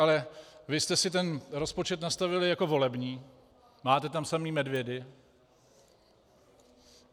Ale vy jste si ten rozpočet nastavili jako volební, máte tam samé medvědy.